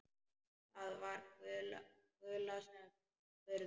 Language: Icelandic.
Það var Gulla sem spurði.